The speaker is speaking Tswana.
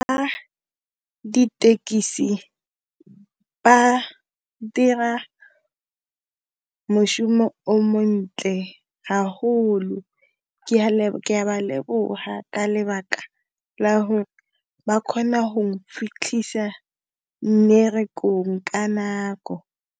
Ba ditekisi, ba dira moshomo o montle haholo, ke ya lebo, ke ya ba leboga ka lebaka la hore ba kgona ho fitlhisa mmererekong ka nako.